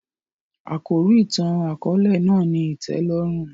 Àkòrí ìtàn-àkóòlè náà ni ìtẹ́lórùn